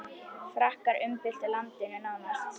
Frakkar umbyltu landinu nánast.